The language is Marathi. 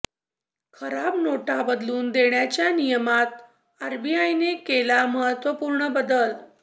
खराब नोटा बदलून देण्याच्या नियमात आरबीआयने केला महत्वपूर्ण बदल